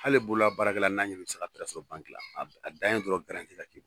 Hali bololabaarakɛ n'a sɔrɔ a dan ye dɔrɔn ka k'i la.